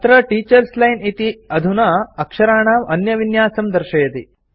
अत्र teachers line इति अधुना अक्षराणाम् अन्यविन्यासं दर्शयति